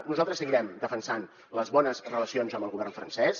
nosaltres seguirem defensant les bones relacions amb el govern francès